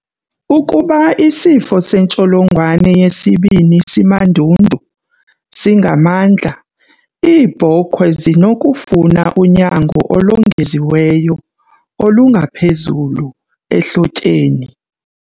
Ukuba isifo sentsholongwane yesibini simandundu singamandla, iibhokhwe zisenokufuna unyango olongeziweyo, olungaphezulu, ehlotyeni.